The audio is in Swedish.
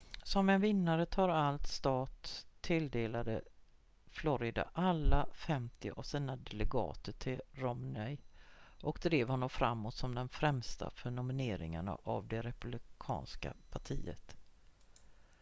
som en vinnare-tar-allt-stat tilldelade florida alla femtio av sina delegater till romney och drev honom framåt som den främsta för nominering av det republikanska partiet